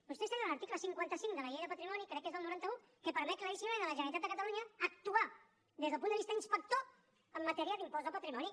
vostès tenen un article cinquanta cinc de la llei de patrimoni crec que és del noranta un que permet claríssimament a la generalitat de catalunya actuar des del punt de vista inspector en matèria d’impost de patrimoni